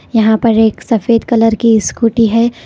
यहां पर एक सफेद कलर की स्कूटी है।